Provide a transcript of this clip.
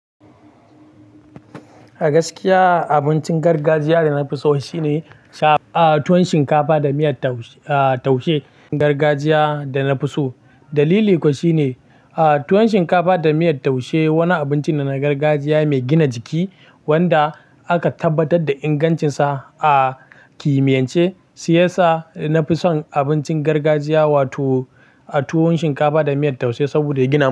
A gaskiya abincin gargajiya da na fi so shine tuwon shinkafa da miyar taushe. Gargajiya da na fi so dalili kuwa shine tuwon shinkafa da miyar taushe wani abinci na gargajiya mai gina jiki wanda aka tabbatar da ingancinsa a kimiyance, shi yasa na fi son abincin gargajiya wato tuwon shinkafa da miyar taushe saboda ya gina jiki.